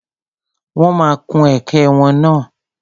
Wọ́n ma kun ẹ̀kẹ́ wọn náà.